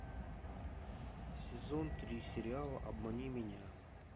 сезон три сериала обмани меня